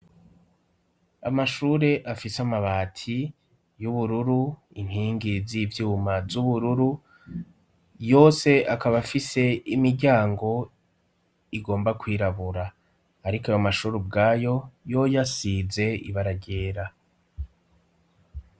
Amashure afise amabati y'ubururu, inkingi z'ivyuma z'ubururu, yose akaba afise imiryango igomba kwirabura. Ariko amashuri ubwayo yoyo asize ibara ryera.